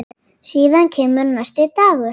Síðan kemur næsti dagur.